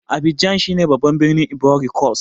Abidjan shine babban birnin Ivory cost.